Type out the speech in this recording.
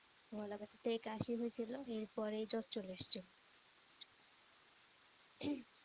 গলা ব্যথা থেকে কাশি হয়েছিল এরপরে জ্বর চলে এসেছিল।